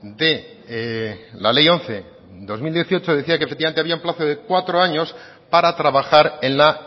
de la ley once barra dos mil dieciocho decía que efectivamente había un plazo de cuatro años para trabajar en la